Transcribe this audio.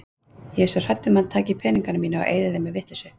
Ég er svo hrædd um að hann taki peningana mína og eyði þeim í vitleysu.